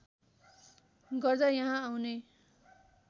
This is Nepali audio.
गर्दा यहाँ आउने